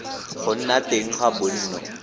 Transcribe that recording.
go nna teng ga bonno